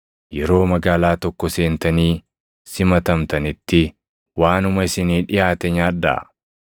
“Yeroo magaalaa tokko seentanii simatamtanitti waanuma isinii dhiʼaate nyaadhaa.